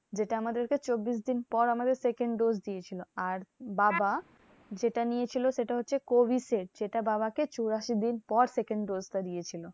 যেটা আমাদেরকে চব্বিশ দিন পর আমাদের second dose দিয়েছিলো। আর বাবা যেটা নিয়েছিল সেটা হচ্ছে covishield সেটা বাবাকে চুরাশি দিন পর second dose টা দিয়েছিলো।